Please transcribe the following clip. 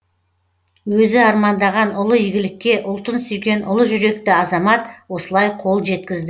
өзі армандаған ұлы игілікке ұлтын сүйген ұлы жүректі азамат осылай қол жеткізді